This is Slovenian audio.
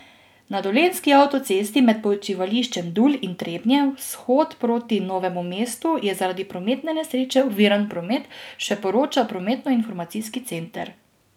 Na dolenjski avtocesti med počivališčem Dul in Trebnje vzhod proti Novemu mestu je zaradi prometne nesreče oviran promet, še poroča prometnoinformacijski center.